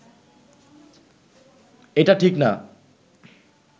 এটা ঠিক না